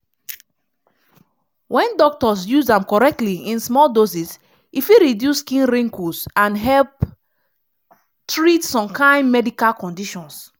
wen doctors use am correctly in small doses e fit reduce skin wrinkles and help treat some kain medical conditions.